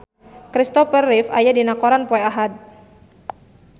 Kristopher Reeve aya dina koran poe Ahad